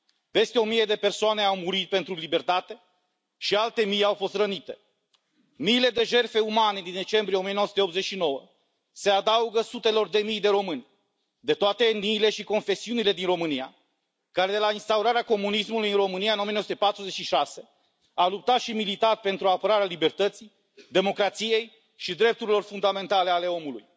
Peste o mie de persoane au murit pentru libertate și alte mii au fost rănite. Miile de jertfe umane din decembrie 1989 se adaugă sutelor de mii de români de toate etniile și confesiunile din România, care de la instaurarea comunismului în România în 1946, au luptat și au militat pentru apărarea libertății, democrației și drepturilor fundamentale ale omului.